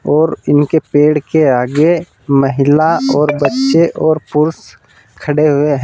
और इनके पेड़ के आगे महिला और बच्चे और पुरुष खड़े हुए है।